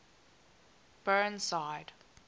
burnside